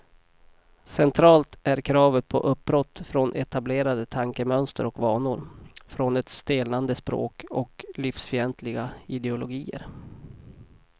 Centralt är kravet på uppbrott från etablerade tankemönster och vanor, från ett stelnande språk och livsfientliga ideologier.